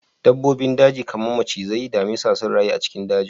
Dabbobin daji kamar macizai, damisa sun rayu a cikin dajin